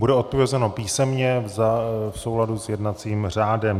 Bude odpovězeno písemně v souladu s jednacím řádem.